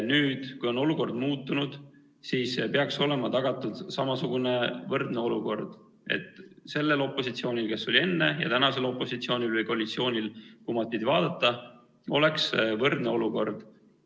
Nüüd, kui olukord on muutunud, peaks olema tagatud, et sellel opositsioonil, kes oli enne, ja praegusel opositsioonil – või koalitsioonil, sõltub, kumba pidi vaadata – oleks võrdne olukord.